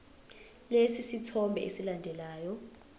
lesi sithombe esilandelayo